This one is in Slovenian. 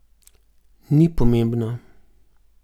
Ni pomembna.